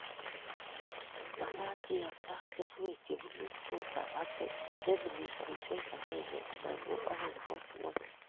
Makat kiyapta keswekchebunu tuta eng sentimitaisiek akenge anan ko aeng kwo ng'ony